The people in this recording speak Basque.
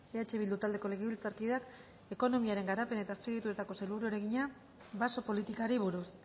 eh bildu taldeko legebiltzarkideak ekonomiaren garapen eta azpiegituretako sailburuari egina baso politikari buruz